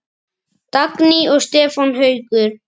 Börn: Dagný og Stefán Haukur.